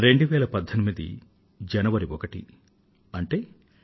2018 జనవరి ఒకటో తేదీ అంటే